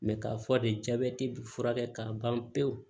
k'a fɔ de jaabɛti bɛ furakɛ k'a ban pewu